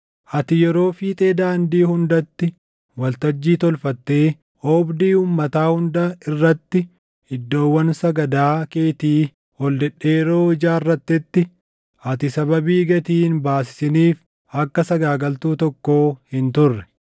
Ati yeroo fiixee daandii hundaatti waltajjii tolfattee oobdii uummataa hunda irratti iddoowwan sagadaa keetii ol dhedheeroo ijaarrattetti, ati sababii gatii hin baasisiniif akka sagaagaltuu tokkoo hin turre.